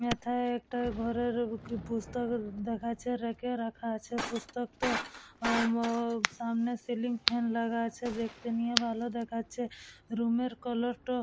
এথায় একটা ঘরের পুস্তক দেখাচ্ছে রেঁকে রাখা আছে পুস্তক তো উম অ সামনে সিলিং ফ্যান লাগা আছে দেখতে নিয়ে ভালো দেখাচ্ছে। রুমের কালার টো--